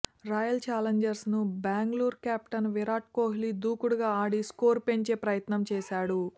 royal challengers Bangalore captain Virat Kohli దూకుడుగా ఆడి score పెంచే ప్రయత్నం చేశాడు